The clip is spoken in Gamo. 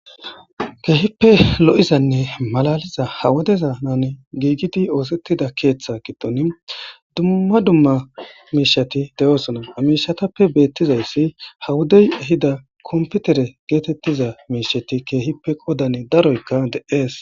Kehippe lo'zanne maalaliza ha wodezan giggidi oththetida keththa giddon dumma dumma mishshati deossona ha mishshatappe bettizayssi ha woddey ehida komppitere gettetiza mishsheti kehippe qoddan daaroyka de'esi.